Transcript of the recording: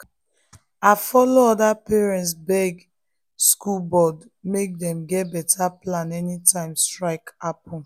i follow other parents beg school board make dem get better plan anytime strike happen.